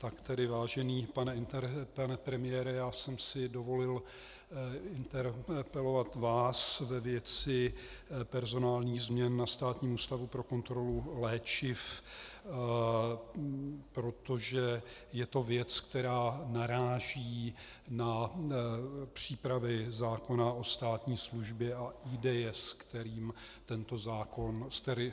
Tak tedy vážený pane premiére, já jsem si dovolil interpelovat vás ve věci personálních změn na Státním ústavu pro kontrolu léčiv, protože je to věc, která naráží na přípravy zákona o státní službě a ideje, s kterými je tento zákon připravován.